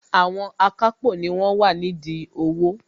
Àwọn akápò ni wọ́n wà nídìí owó